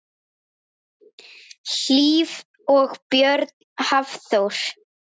Hlíf og Björn Hafþór.